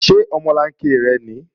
Ṣé omolanke rẹ nìí?